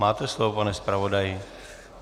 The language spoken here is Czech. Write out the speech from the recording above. Máte slovo, pane zpravodaji.